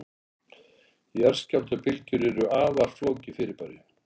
jarðskjálftabylgjur eru afar flókið fyrirbæri